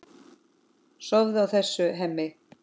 Sofum á þessu, Hemmi.